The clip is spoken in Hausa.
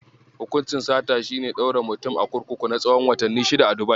Hukuncin sata shi ne ɗaure mutum a kurkuku na tsahon watanni shida a Dubai.